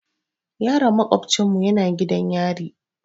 Yaron maƙofcinmu yana gidan yari.